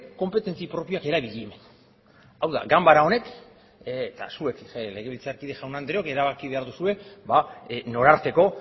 konpetentzi propioak erabili hau da ganbara honek eta zuek legebiltzarkide jaun andreok erabaki behar duzue nora arteko